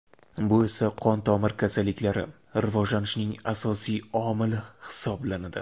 Bu esa qon-tomir kasalliklari rivojlanishining asosiy omili hisoblanadi.